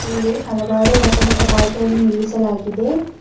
ಇಲ್ಲಿ ಹಲವಾರು ಹೊಸ ಹೊಸ ಬೈಕ್ ಗಳನ್ನು ನಿಲ್ಲಿಸಲಾಗಿದೆ.